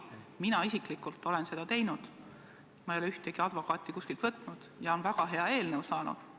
Mina isiklikult olen seda teinud, ma ei ole ühtegi advokaati kuskilt võtnud ja on väga hea eelnõu saanud.